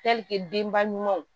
denba ɲumanw